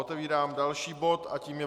Otevírám další bod a tím je